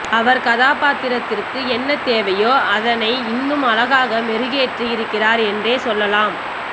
அவர் கதாபாத்திரத்திற்கு என்ன தேவையோ அதனை இன்னும் அழகாக மெருகேற்றி இருக்கிறார் என்றே சொல்லலாம்